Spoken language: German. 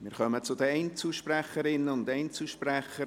Wir kommen zu den Einzelsprecherinnen und Einzelsprechern.